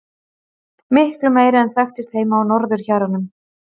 Miklu meiri en þekktist heima á norðurhjaranum.